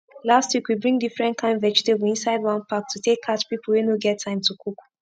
last week we bring different kain vegetable inside one pack to take catch pipu wey no get time to cook